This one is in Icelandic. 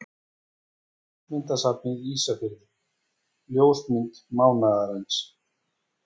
Ljósmyndasafnið Ísafirði Ljósmynd mánaðarins.